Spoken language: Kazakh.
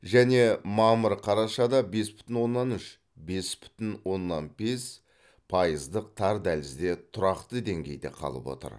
және мамыр қарашада бес бүтін оннан үш бес бүтін оннан бес пайыздық тар дәлізде тұрақты деңгейде қалып отыр